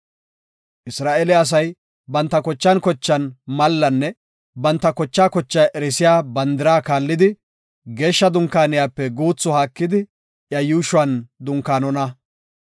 Isra7eele asay banta kochan kochan mallanne banta kocha kocha erisiya bandira kaallidi, Geeshsha Dunkaaniyape guuthi haakidi iya yuushuwan dunkaanona.